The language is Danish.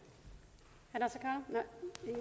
man